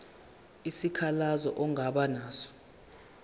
isikhalazo ongaba naso